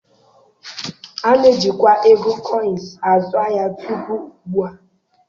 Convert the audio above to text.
A na-ejikwa ego koịns azu ahịa tupu ugbu a